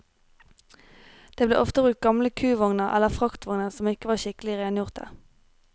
Det ble ofte brukt gamle kuvogner eller fraktvogner som ikke var skikkelig rengjorte.